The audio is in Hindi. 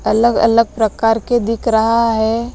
अलग-अलग प्रकार के दिख रहा है।